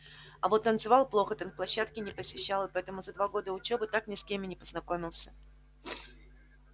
а вот танцевал плохо танцплощадки не посещал и поэтому за два года учёбы так ни с кем и не познакомился